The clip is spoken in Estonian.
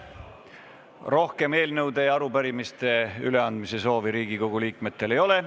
Rohkem eelnõude ja arupärimiste üleandmise soovi Riigikogu liikmetel ei ole.